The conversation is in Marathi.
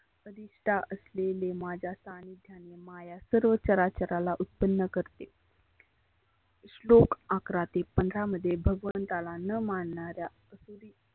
अधीष्टा असलेले माझ्या सानिध्याने माया सर्व चराचराला उत्पन्न करते. श्लोक अकरा ते पंधरा मध्ये भगवंताला न मानणाऱ्या असुरी